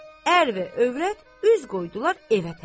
Ər və övrət üz qoydular evə tərəf.